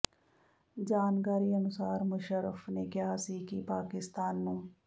ਜਾਣਕਾਰੀ ਅਨੁਸਾਰ ਮੁਸ਼ੱਰਫ ਨੇ ਕਿਹਾ ਸੀ ਕਿ ਪਾਕਿਸਤਾਨ ਨੂੰ